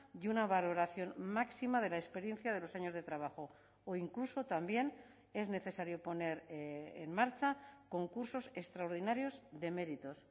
y una valoración máxima de la experiencia de los años de trabajo o incluso también es necesario poner en marcha concursos extraordinarios de méritos